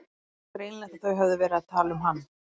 Það var greinilegt að þau höfðu verið að tala um hann.